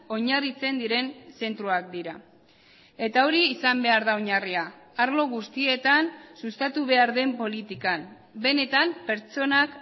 oinarritzen diren zentroak dira eta hori izan behar da oinarria arlo guztietan sustatu behar den politikan benetan pertsonak